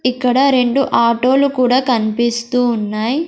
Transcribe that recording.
ఇక్కడ రెండు ఆటోలు కూడా కన్పిస్తూ ఉన్నాయ్.